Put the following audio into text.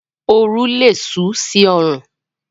Oru lé sú sí orùn